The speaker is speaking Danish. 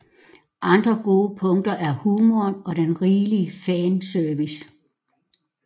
Andre gode punkter er humoren og den rigelige fanservice